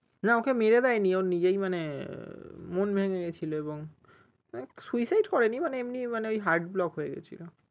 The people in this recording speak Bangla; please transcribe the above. না ওকে মেরে দেয়নি ও নিজেই মানে মন ভেঙ্গে গেছিলো এবং suicide করেনি মানে এমনিই মানে heart block হয়েগেছিলো